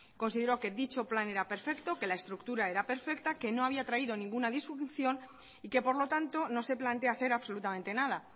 consideró que dicho plan era perfecto que la estructura era perfecta que no había traído ninguna disfunción y que por lo tanto no se plantea hacer absolutamente nada